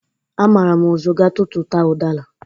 Amara m ụzụ gatụtụta ụdara.